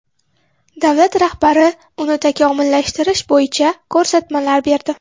Davlat rahbari uni takomillashtirish bo‘yicha ko‘rsatmalar berdi.